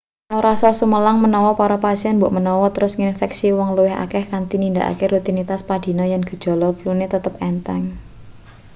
ana rasa sumelang menawa para pasien mbokmenawa terus nginfeksi wong luwih akeh kanthi nindakake rutinitas padinane yen gejala flune tetep entheng